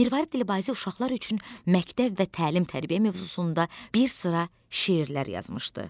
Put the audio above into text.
Mirvarid Dilbazi uşaqlar üçün məktəb və təlim-tərbiyə mövzusunda bir sıra şeirlər yazmışdı.